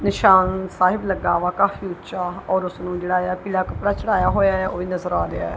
ਨਿਸ਼ਾਨ ਸਾਹਿਬ ਲੱਗਾ ਵਾ ਕਾਫੀ ਊਂਚਾ ਔਰ ਓਸਨੂੰ ਜੇਹੜਾਯਾ ਨੀਲਾ ਕਪੜਾ ਚੜ੍ਹਾਇਆ ਹੋਇਆ ਓਹ ਵੀ ਨਜ਼ਰ ਆ ਰਿਹਾ ਹੈ।